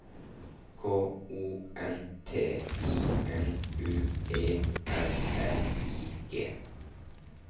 K O N T I N U E R L I G